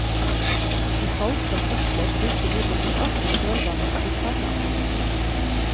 De falske apostler fulgte imidlertid alltid i kjølvannet av de sanne apostler.